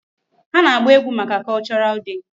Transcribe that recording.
Ha na-agba egwu maka cultural day.